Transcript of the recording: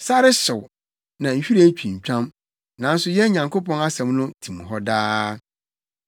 Sare hyew, na nhwiren twintwam, nanso yɛn Nyankopɔn asɛm no tim hɔ daa.”